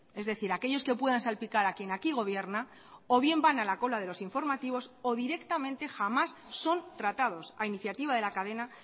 es decir aquellos que puedan salpicar a quien aquí gobierna o bien van a la cola de los informativos o directamente jamás son tratados a iniciativa de la cadena